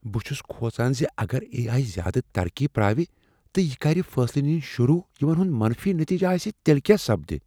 بہٕ چھس کھوژان ز اگر اے۔ آۓ زیادہ ترقی پراوِ تہٕ یہٕ کرِ فیصلہٕ نِنۍ شروع یمن ہند منفی نتیجہٕ آسن تیلہٕ کیا سپدِ۔